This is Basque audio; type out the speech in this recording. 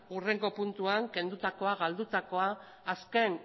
hurrengo puntuan kendutako galdutakoa azken